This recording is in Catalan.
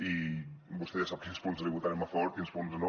i vostè ja sap quins punts li votarem a favor quins punts no